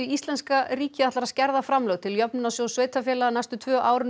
íslenska ríkið ætlar að skerða framlög til Jöfnunarsjóðs sveitarfélaga næstu tvö árin um